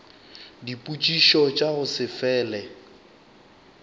dipotšišo tša go se fele